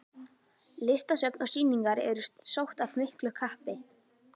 Listasöfn og sýningar eru sótt af miklu kappi.